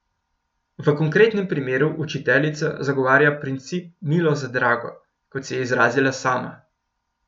V konkretnem primeru učiteljica zagovarja princip milo za drago, kot se je izrazila sama.